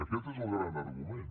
aquest és el gran argument